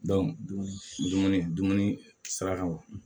dumuni dumuni sira kan wo